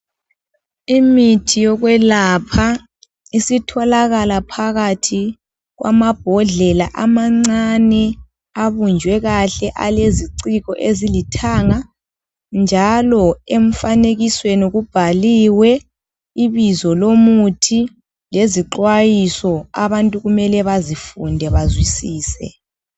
Imithi yokwelapha isitholakala phakathi kwamambodlela amancane. Abunjwe kahle aleziciko ezilithanga. Njalo emfanekisweni kubhaliwe ibizo lomuthi lezixwayiso. Abantu kumele bazifunde bazwisise.